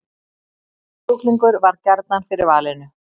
Kjúklingur varð gjarnan fyrir valinu